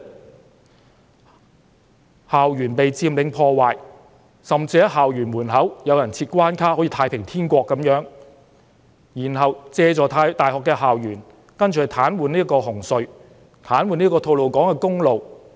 我們看到校園被佔領、破壞，甚至有人在校園門口設關卡，好像那裏是"太平天國"般，然後，這些人借助大學校園所在位置，癱瘓紅磡海底隧道、吐露港公路。